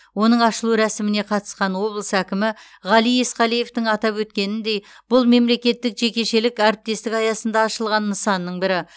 оның ашылу рәсіміне қатысқан облыс әкімі ғали есқалиевтің атап өткеніндей бұл мемлекеттік жекешелік әріптестік аясында ашылған нысанның бірі